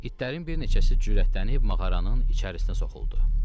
İtlərin bir neçəsi cürətlənib mağaranın içərisinə soxuldu.